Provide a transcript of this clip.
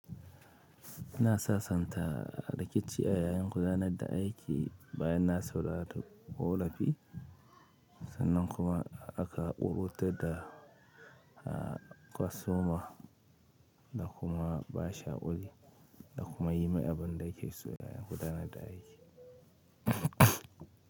Ina sasanta a rikici a yayin gudanar da aiki bayan na saurari ƙorafi, sannan kuma aka haƙurtad da a ƙwaso ma, da kuma bashi a haƙuri, da kuma yi mai abin da ya keso a yayin gudanar da aiki.